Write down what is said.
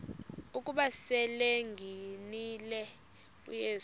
ukuba selengenile uyesu